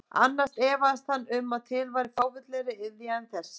Annars efaðist hann um að til væri fávitalegri iðja en þessi.